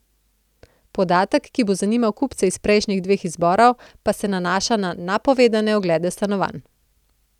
Podatek, ki bo zanimal kupce iz prejšnjih dveh izborov, pa se nanaša na napovedane oglede stanovanj.